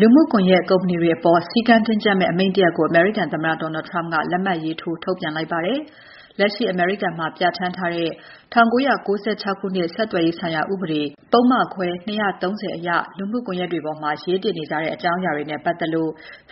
လူမှုကွန်ယက်ကုမ္ပဏီတွေအပေါ် စည်းကမ်းတင်းကျပ်မယ့်အမိန့် တရပ်ကို အမေရိကန်သမ္မတ Donald Trump က လက်မှတ်ရေးထိုး ထုတ်ပြန်လိုက်ပါတယ်။ လက်ရှိအမေရိကန်မှာ ပြဌာန်းထားတဲ့ ၁၉၉၆ ခုနှစ် ဆက်သွယ်ရေးဆိုင်ရာဥပဒေ၊ ပုဒ်မခွဲ ၂၃၀ အရ လူမှုကွန်ယက်တွေပေါ်မှာ ရေးတင်နေကြတဲ့ အကြောင်းအရာတွေနဲ့ပတ်သက်လို့